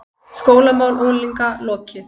SKÓLAMÁL UNGLINGA LOKIÐ